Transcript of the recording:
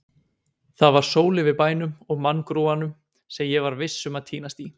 Það var sól yfir bænum og manngrúanum, sem ég var viss um að týnast í.